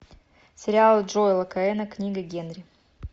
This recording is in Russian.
сериал джоэла коэна книга генри